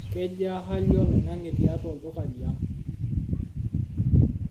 kejaa hali oloing'ang'e tiatua olduka li ang